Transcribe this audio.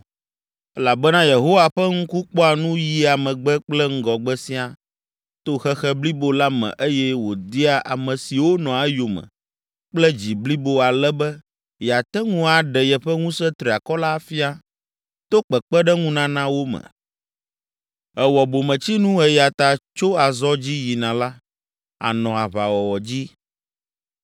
elabena Yehowa ƒe ŋku kpɔa nu yia megbe kple ŋgɔgbe siaa to xexe blibo la me eye wòdia ame siwo nɔa eyome kple dzi blibo ale be yeate ŋu aɖe yeƒe ŋusẽ triakɔ la afia to kpekpeɖeŋunana wo me. Èwɔ bometsinu eya ta tso azɔ dzi yina la, ànɔ aʋawɔwɔ dzi.”